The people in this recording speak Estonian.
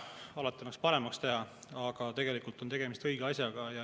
Alati võib kõike paremaks teha, aga tegelikult on tegemist õige asjaga.